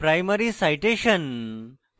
primary citation